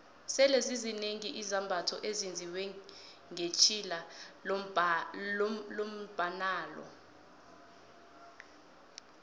sele zizinengi izambatho ezenziwe ngetjhilalombnalo